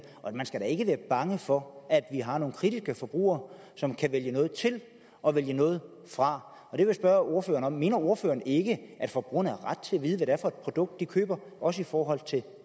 man skal da ikke være bange for at vi har nogle kritiske forbrugere som kan vælge noget til og vælge noget fra jeg vil spørge ordføreren mener ordføreren ikke at forbrugerne har ret til at vide hvad det er for et produkt de køber også i forhold til